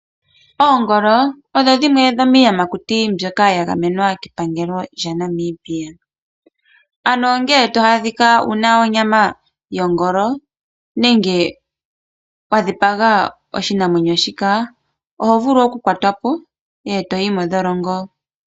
Oongolo odho dhimwe dhomiiyamakuti mbyoka ya gamwena kepangelo lyaNamibia, ano ngele to adhika wu na onyama yongolo nenge wa dhipaga oshinamwenyo shika oho vulu okukwatwapo e to yi mondholongo.